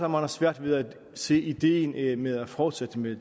har svært ved at se ideen med at fortsætte med